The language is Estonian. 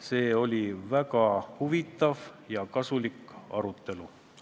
See oli väga huvitav ja kasulik arutelu.